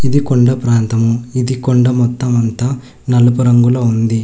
ఇది కొండ ప్రాంతము ఇది కొండ మొత్తం అంతా నలుపు రంగులో ఉంది.